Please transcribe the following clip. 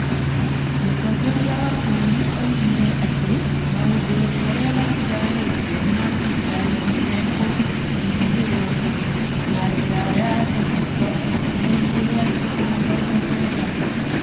Mũtongoria wa bũrũri oigire atĩ maũndũ marĩa matigarĩte ma thirikari nĩ mekũhũthĩrwo na njĩra ya ndigito ihinda-inĩ rĩa thikũ mĩrongo kenda.